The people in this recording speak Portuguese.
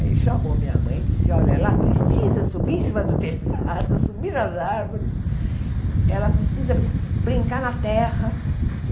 Aí ele chamou minha mãe e disse, olha, ela precisa subir em cima do telhado, subir nas árvores, ela precisa brin brincar na terra.